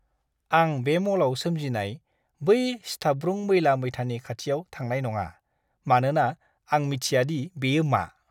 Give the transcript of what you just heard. आं बे म'लआव सोमजिनाय बै सिथाबब्रुं मैला-मैथानि खाथियाव थांनाय नङा, मानोना आं मिथियादि बेयो मा!